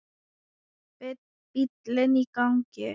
Bíllinn í gangi.